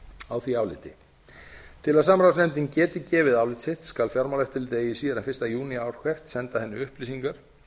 á því áliti til að samráðsnefndin geti gefið álit sitt skal fjármálaeftirlitið eigi síðar en fyrsta júní ár hvert senda henni upplýsingar